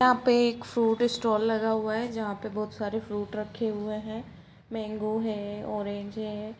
यहाँ पे एक फ्रूट स्टाल लगा हुआ है जहाँ पे बहुत सारे फ्रूट रखे हुआ है मेंगो है ऑरेंज है।